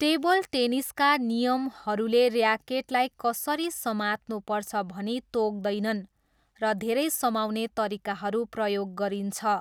टेबलटेनिसका नियमहरूले ऱ्याकेटलाई कसरी समात्नुपर्छ भनी तोक्दैनन्, र धेरै समाउने तरिकाहरू प्रयोग गरिन्छ।